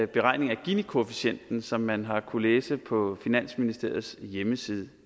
beregning af ginikoefficienten som man har kunnet læse på finansministeriets hjemmeside